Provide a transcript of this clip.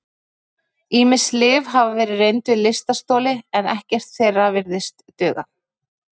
Ýmis lyf hafa verið reynd við lystarstoli en ekkert þeirra virðist duga.